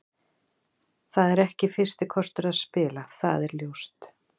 Það er ekki fyrsti kostur að spila, það er ljóst.